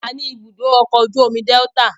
A ní ibùdó ọkọ̀ ojú omi Delta